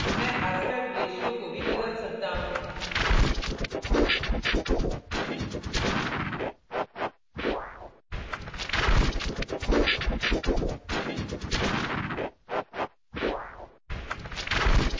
मैं aspect ratio aspect ratio को भी बदल सकता हूँ